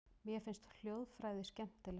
Mér finnst hljóðfræði skemmtileg.